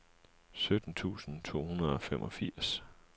sytten tusind to hundrede og femogfirs